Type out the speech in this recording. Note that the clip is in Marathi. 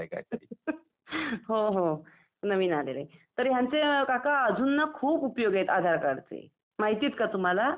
Laughter हो हो, नवीन आलेलंय. तर ह्यांचे न काका खूप उपयोग आहेत आधार कार्डचे. माहिती आहेत का तुम्हाला?